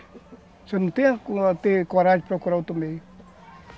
Você não tem coragem de procurar outro meio.